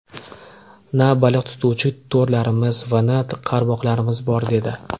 Na baliq tutuvchi to‘rlarimiz va na qarmoqlarimiz bor”, dedi.